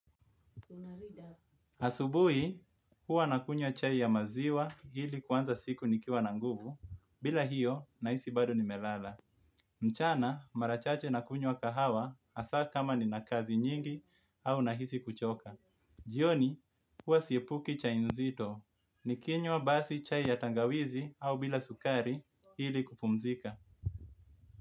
Asubuhi huwa nakunywa chai ya maziwa ili kanza siku nikiwa na nguvu bila hiyo nahisi bado nimelala mchana mara chache nakunywa kahawa hasa kama ninakazi nyingi au nahisi kuchoka. Jioni huwa siepuki chai nzito nikinywa basi chai ya tangawizi au bila sukari hili kupumzika.